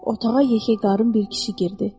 Otağa yekə qarın bir kişi girdi.